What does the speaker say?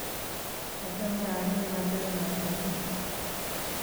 Achame arue mapema yoomi gaa